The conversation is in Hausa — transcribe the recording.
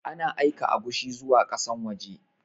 Ana aika agushi zuwa ƙasan waje